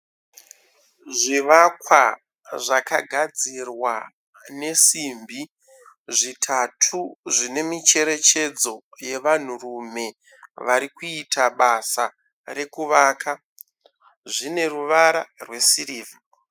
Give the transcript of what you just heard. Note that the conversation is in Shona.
Zvivakwa zvakagadzirwa nesimbi zvitatu . Zvine micherechedzo yevanhurume vari kuita basa rekuvaka . Zvine ruvara rwesirivha .